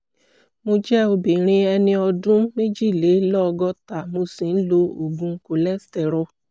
mo jẹ́ obìnrin ẹni ọdún méjìlélọ́gọ́ta mo sì ń lo oògùn cs] cholesterol